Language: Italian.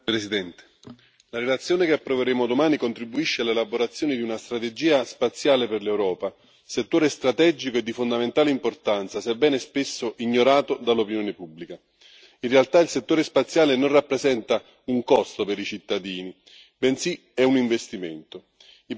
Signora Presidente, onorevoli colleghi, la relazione che approveremo domani contribuisce all'elaborazione di una strategia spaziale per l'Europa, settore strategico e di fondamentale importanza, sebbene spesso ignorato dall'opinione pubblica. In realtà il settore spaziale non rappresenta un costo per i cittadini, bensì un investimento